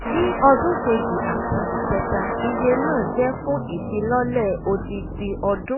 ní ọdún kejì àti ìkẹta iye náà jẹ́ fún ìfilọ́lẹ̀ odindi ọdún